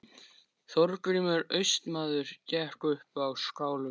Þorgrímur Austmaður gekk upp á skálann.